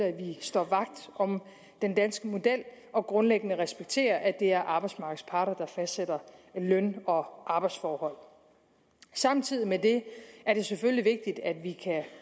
at vi står vagt om den danske model og grundlæggende respekterer at det er arbejdsmarkedets parter der fastsætter løn og arbejdsforhold samtidig med det er det selvfølgelig vigtigt at vi kan